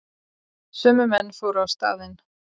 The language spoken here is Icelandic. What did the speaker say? Sömu menn fóru á staðinn